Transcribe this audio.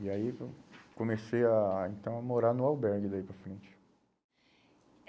E aí então eu comecei a a, então, a morar no albergue daí para frente.